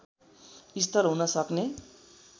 स्थल हुन सक्ने